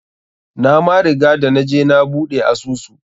Na ma riga da naje na buɗe asusu.